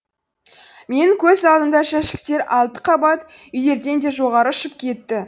мен көз алдымда жәшіктер алты қабат үйлерден де жоғары ұшып кетті